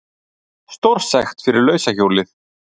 Stórsekt fyrir lausa hjólið